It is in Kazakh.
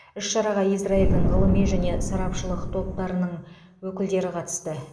іс шараға израильдің ғылыми және сарапшылық топтарының өкілдері қатысты